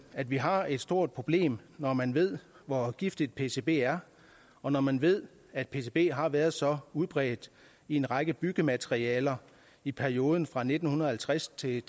at vi har et stort problem når man ved hvor giftigt pcb er og når man ved at pcb har været så udbredt i en række byggematerialer i perioden fra nitten halvtreds til